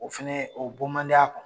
O fɛnɛ o bɔ man di a kun.